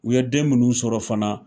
U ye den munnu sɔrɔ fana